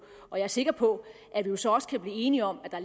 og jeg er sikker på at vi jo så også kan blive enige om at der